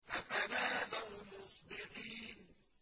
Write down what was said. فَتَنَادَوْا مُصْبِحِينَ